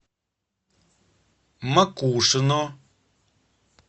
макушино